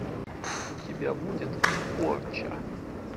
у тебя будет порча